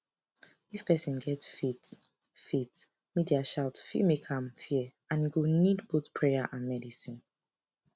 if person get faith faith media shout fit make am fear and e go need both prayer and medicine